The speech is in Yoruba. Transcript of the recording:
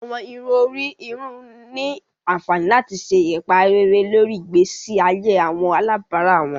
Awọn irun ori irun ni anfani lati ṣe ipa rere lori igbesi aye awọn alabara wọn.